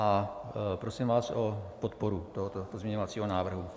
A prosím vás o podporu tohoto pozměňovacího návrhu.